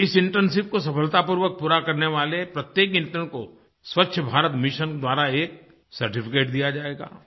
इस इंटर्नशिप को सफलतापूर्वक पूरा करने वाले प्रत्येक इंटर्न को स्वच्छ भारत मिशन द्वारा एक सर्टिफिकेट दिया जायेगा